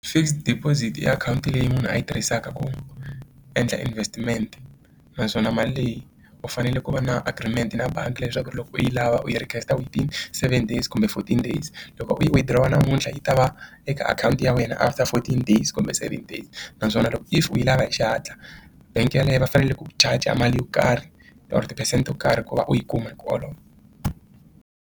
Fixed deposit i akhawunti leyi munhu a yi tirhisaka ku endla investment naswona mali leyi u fanele ku va na agreement na bangi leswaku loko u yi lava u yi within seven days kumbe fourteen days loko u yi u yi withdraw namuntlha yi ta va eka akhawunti ya wena after fourteen days kumbe seven days naswona loko if u yi lava hi xihatla bank yeleyo va fanele ku charger mali yo karhi or ti-percent yo karhi ku va u yi kuma .